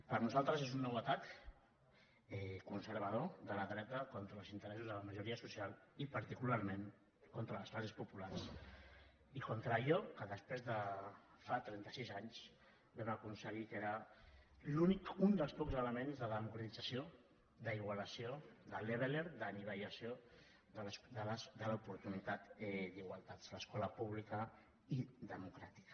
per nosaltres és un nou atac conservador de la dreta contra els interessos de la majoria social i particularment contra les classes populars i contra allò que fa trenta sis anys vam aconseguir que era l’únic un dels pocs elements de democratització d’igualació de leveller d’anivellació de les oportunitats d’igualtat l’escola pública i democràtica